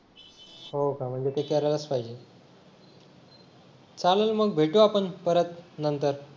हो का म्हणजे ते करायलाच पाहिजे चालेल मग भेटू आपण परत नंतर